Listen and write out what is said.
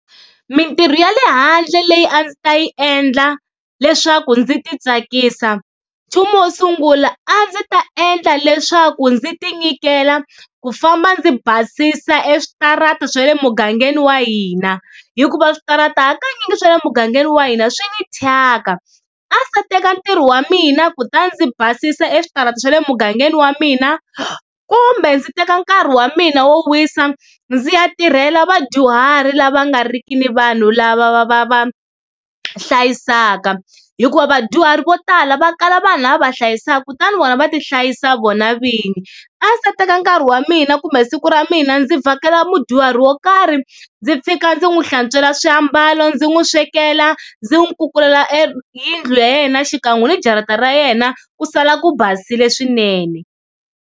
Mintirho ya le handle leyi a ndzi ta yi endla leswaku ndzi titsakisa, nchumu wo sungula a ndzi ta endla leswaku ndzi tinyikela ku famba ndzi basisa eswitarateni swa le mugangeni wa hina hikuva switarata hakanyingi swa le mugangeni wa hina swi ni thyaka. A ndzi ta teka ntirho wa mina kutani ndzi basisa eswitarata swa le mugangeni wa mina kumbe ndzi teka nkarhi wa mina wo wisa ndzi ya tirhela vadyuhari lava nga riki ni vanhu lava va va va hlayisaka, hikuva vadyuhari vo tala va kala vanhu lava va hlayisaka kutani vona va tihlayisa vona vinyi. A ndzi ta teka nkarhi wa mina kumbe siku ra mina ndzi vhakela mudyuhari wo karhi ndzi fika ndzi n'wi hlantswela swiambalo, ndzi n'wi swekela, ndzi n'wi kukula eyindlu ya yena xikan'we ni jarata ra yena ku sala ku basile swinene.